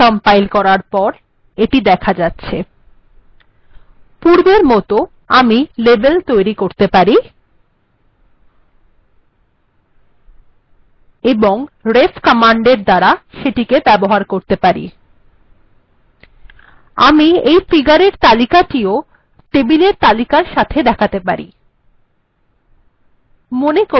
পূর্বের মত ই আমি লেবেল্ তৈরী করতে পারি এবং ref কমান্ডএর দ্বারা সেটি ব্যবহার করতে পারি আমি টেবিল এর তালিকা এর সাথে ফিগার্এর তালিকা ও দেখাতে পারি